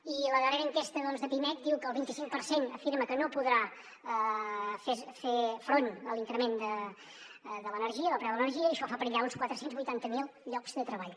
i la darrera enquesta de pimec diu que el vint i cinc per cent afirma que no podrà fer front a l’increment de l’energia del preu de l’energia i això fa perillar uns quatre cents i vuitanta miler llocs de treball